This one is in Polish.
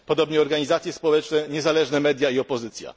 Podobnie organizacje społeczne, niezależne media i opozycja.